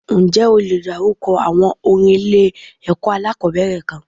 Ǹjẹ́ o le dárúkọ àwọn orin ilé ẹ̀kọ́ alákòbẹ̀rẹ̀ kan?